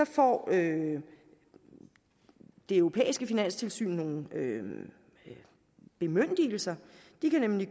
får det det europæiske finanstilsyn nogle bemyndigelser de kan nemlig